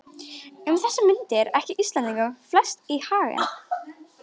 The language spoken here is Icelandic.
Um þessar mundir gekk Íslendingunum flest í haginn.